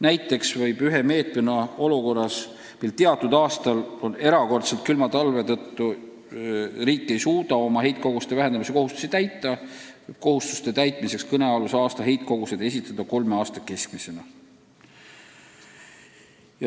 Näiteks võib siis, kui erakordselt külma talve tõttu ei suuda riik oma heitkoguste vähendamise kohustusi mõnel aastal täita, esitada andmed heitkoguste kohta kolme aasta keskmisena.